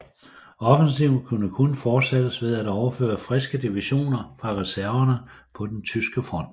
Offensiven kunne kun fortsættes ved at overføre friske divisioner fra reserverne på den tyske front